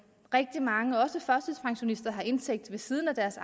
rigtig mange også førtidspensionister har en indtægt ved siden af deres